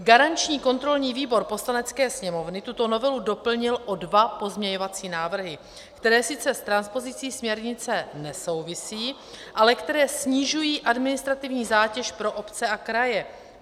Garanční kontrolní výbor Poslanecké sněmovny tuto novelu doplnil o dva pozměňovací návrhy, které sice s transpozicí směrnice nesouvisí, ale které snižují administrativní zátěž pro obce a kraje.